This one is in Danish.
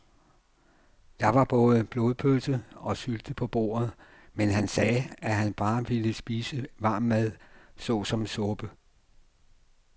Der var både blodpølse og sylte på bordet, men han sagde, at han bare ville spise varm mad såsom suppe.